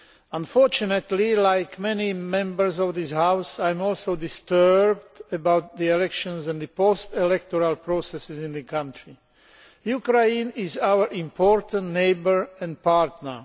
Unfortunately, like many Members of this House, I am also disturbed by the elections and the post electoral processes in the country. Ukraine is our important neighbour and partner.